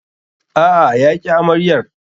A'a, ya ƙi amaryar.